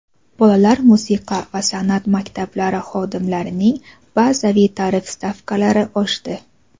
Bolalar musiqa va sanʼat maktablari xodimlarining bazaviy tarif stavkalari oshdi.